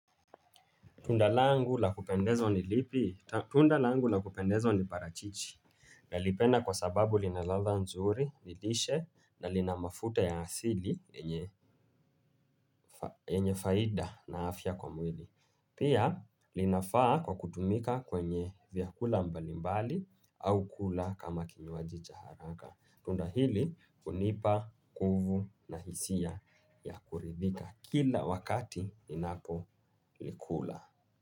Tunda langu la kupendezwa ni lipi tunda langu la kupendezaw ni parachichi. Nalipenda kwa sababu lina ladha nzuri ni lishe na lina mafuta ya asili enye yenye faida na afya kwa mwili pia na inafaa kwa kutumika kwenye vyakula mbalimbali au kula kama kinywaji cha haraka tunda hili hunipa nguvu na hisia ya kuridhika kila wakati ninapo likula.